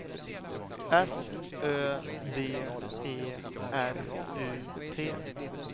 S Ö D E R U T